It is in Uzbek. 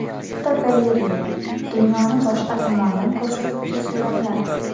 Fotogalereya: Dunyoni boshqa tomondan ko‘rsatuvchi suratlar.